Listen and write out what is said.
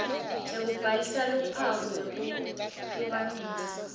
sekubhalisa luphawu lwekuhlukanisa